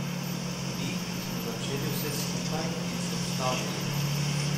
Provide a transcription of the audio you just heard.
Mi, ki smo začeli vse skupaj in se ustavili.